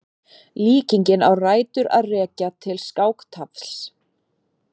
Líkingin á rætur að rekja til skáktafls.